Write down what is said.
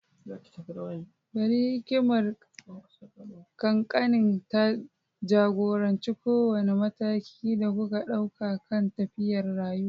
Bari hikimar kakanni ta ja-goranci kowane mataki da kuka ɗauka kan tafiyar rayuwa.